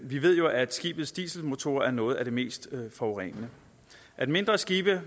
vi ved jo at skibes dieselmotorer er noget af det mest forurenende at mindre skibe